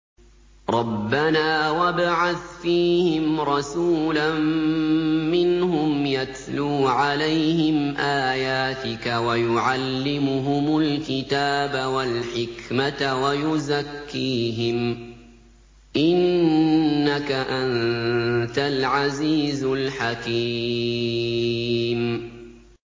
رَبَّنَا وَابْعَثْ فِيهِمْ رَسُولًا مِّنْهُمْ يَتْلُو عَلَيْهِمْ آيَاتِكَ وَيُعَلِّمُهُمُ الْكِتَابَ وَالْحِكْمَةَ وَيُزَكِّيهِمْ ۚ إِنَّكَ أَنتَ الْعَزِيزُ الْحَكِيمُ